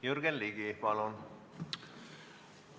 Jürgen Ligi, palun!